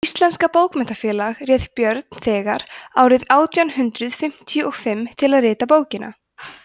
hið íslenska bókmenntafélag réð björn þegar árið átján hundrað fimmtíu og fimm til að rita bókina